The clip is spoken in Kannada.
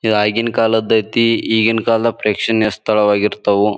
ಇವಗಿನ್ ಕಾಲದ್ ಐತಿ ಈಗಿನ ಕಾಲದಲ್ಲಿ ಪ್ರೇಕ್ಷಣೀಯ ಸ್ಥಳವಾಗಿರ್ತವು.